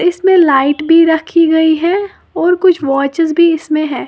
इसमें लाइट भी रखी गई है और कुछ वॉचेस भी इसमें है।